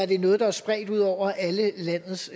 det er noget der er spredt ud over alle landets